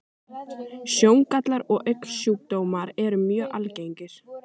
Sjóngallar og augnsjúkdómar eru mjög algengir.